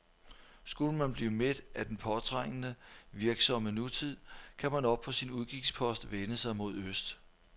Skulle man blive mæt af den påtrængende, virksomme nutid, kan man oppe på sin udkigspost vende sig mod øst.